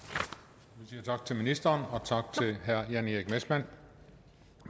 vi siger tak til ministeren og tak til herre jan erik messmann